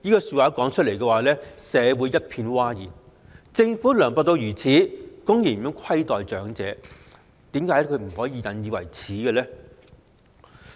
此話一出，社會一片譁然，政府涼薄至此，公然虧待長者，應該引以為耻！